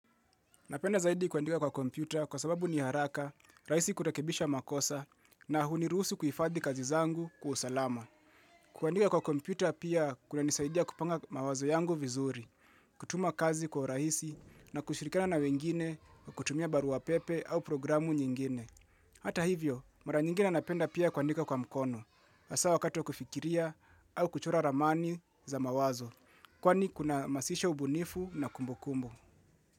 Napenda zaidi kuandika kwa kompyuta kwa sababu ni haraka, rahisi kurebisha makosa na hunirusu kuhifadhi kazi zangu kwa usalama. Kuandika kwa kompyuta pia kuna nisaidia kupanga mawazo yangu vizuri, kutuma kazi kwa urahisi na kushirikana na wengine kutumia barua pepe au programu nyingine. Hata hivyo, mara nyingine napenda pia kuandika kwa mkono, haswa wakati kufikiria au kuchora ramani za mawazo, kwani kuna masisha ubunifu na kumbukumbu.